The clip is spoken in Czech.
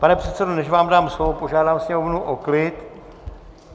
Pane předsedo, než vám dám slovo, požádám sněmovnu o klid.